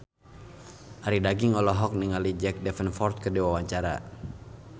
Arie Daginks olohok ningali Jack Davenport keur diwawancara